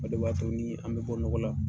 O de b'a to ni an bɛ bɔ nɔgɔ la,